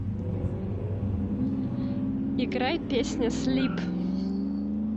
играй песня слип